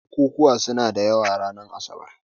Bukukkuwa suna da yawa ranar asabar.